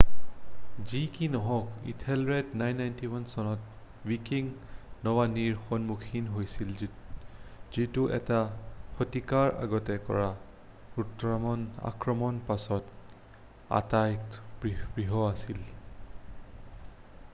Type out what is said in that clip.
যি কি নহওক ইথেলৰেডে 991 চনত ৱিকিং নৌবানীৰ সন্মুখীন হৈছিল যিটো এটা শতিকাৰ আগতে কৰা গুথ্ৰামৰ আক্ৰমণৰ পাছত আটাইতকৈ বৃহৎ আছিল